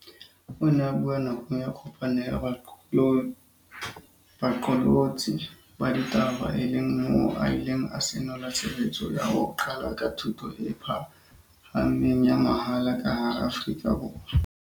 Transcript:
O ne a bua nakong ya kopano ya baqolotsi ba ditaba e leng moo a ileng a senola tshebetso ya ho qala ka thuto e pha hameng ya mahala ka hara Afrika Borwa.